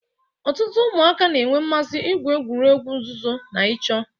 Ọtụtụ ụmụaka na-enwe mmasị igwu egwuregwu nzuzo na ịchọ